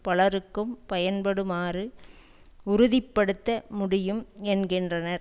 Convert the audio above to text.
பலருக்கும் பயன்படுமாறு உறுதி படுத்த முடியும் என்கின்றனர்